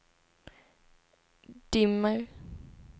dimmer